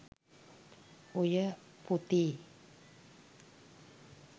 ඔය පොතේ.